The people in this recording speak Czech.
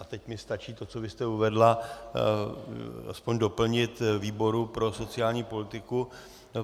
A teď mi stačí to, co vy jste uvedla, alespoň doplnit výboru pro sociální politiku.